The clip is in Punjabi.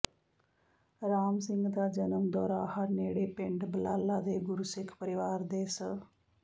ਰਾਮ ਸਿੰਘ ਦਾ ਜਨਮ ਦੋਰਾਹਾ ਨੇੜੇ ਪਿੰਡ ਬਲਾਲਾ ਦੇ ਗੁਰਸਿੱਖ ਪਰਿਵਾਰ ਦੇ ਸ